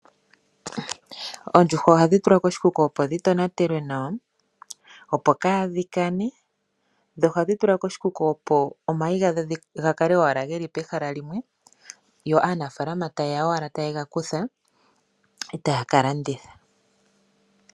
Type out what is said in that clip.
Oondjuhwa ohadhi tulwa koshikuku opo dhi tonatelwa nawa, opo kaadhi kane. Ohadhi tulwa koshikuku, opo omayi ga kale owala ge li pehala limwe yo aanafaalama taye ya owala taye ga kutha e taya ka landitha.